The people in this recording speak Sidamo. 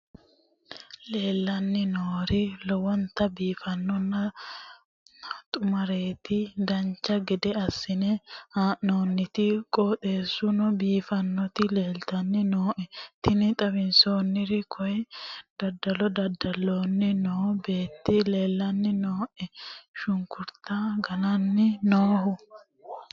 leellanni nooeri lowonta biiffinonna xumareeti dancha gede assine haa'noonniti qooxeessano biiffinoti leeltanni nooe tini xawissannori kayi dadalo dada'lanni noo beeti leellanni nooe shunkurta gananni noohu